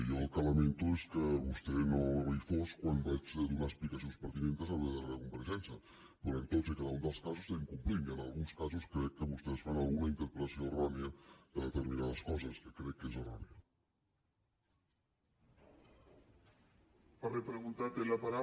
jo el que lamento és que vostè no hi fos quan vaig donar explicacions pertinents en la meva darrera compareixença però en tots i cada un dels casos estem complint i en alguns casos crec que vostès fan alguna interpretació errònia de determinades coses que crec que és errònia